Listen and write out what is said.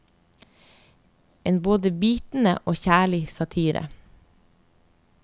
En både bitende og kjærlig satire.